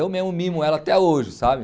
Eu mesmo mimo ela até hoje, sabe?